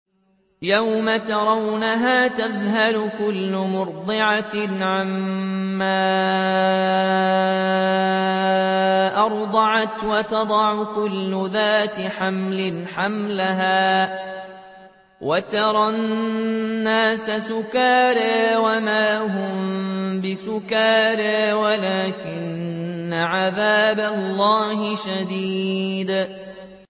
يَوْمَ تَرَوْنَهَا تَذْهَلُ كُلُّ مُرْضِعَةٍ عَمَّا أَرْضَعَتْ وَتَضَعُ كُلُّ ذَاتِ حَمْلٍ حَمْلَهَا وَتَرَى النَّاسَ سُكَارَىٰ وَمَا هُم بِسُكَارَىٰ وَلَٰكِنَّ عَذَابَ اللَّهِ شَدِيدٌ